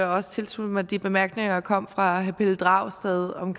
også tilslutte mig de bemærkninger der kom fra herre pelle dragsted om